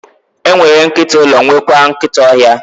E nwere nkịta ụlọ, nwekwaa nkịta ọhịa.